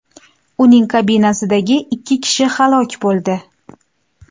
Uning kabinasidagi ikki kishi halok bo‘ldi.